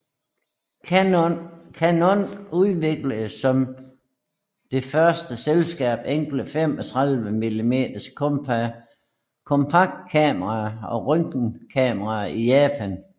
Canon udviklede som det første selskab enkle 35 mm kompaktkameraer og røntgenkameraer i Japan